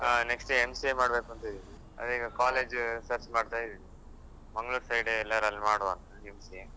ಆ next MCA ಮಾಡ್ಬೇಕೂಂತ ಇದ್ದೇನೆ ಅದೆ ಈಗ college search ಮಾಡ್ತಾ ಇದ್ದೇನೆ Mangalore side ಎಲ್ಲಾದ್ರು ಅಲ್ಲಿ ಮಾಡುವಾಂತ MCA .